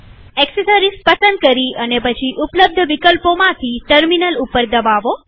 accessories પસંદ કરી અને પછી ઉપલબ્ધ વિકલ્પોમાંથી ટર્મિનલ ઉપર દબાવો